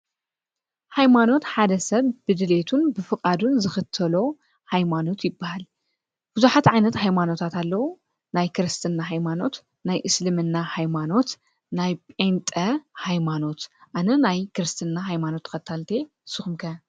ሃይማኖት ሓደ ሰብ ብድልየቱን ብፍቓዱን ዝኽተሎ ኃይማኖት ይበሃል። ብዙኃት ዓይነት ኃይማኖታት ኣለዉ ናይ ክርስትና ኃይማኖት፣ ናይ እስልምና ኃይማኖት፣ ናይ ጴንጠ ኃይማኖት። ኣነ ናይ ክርስትና ኃይማኖት ተከታሊት እየ ንስኹም ከ?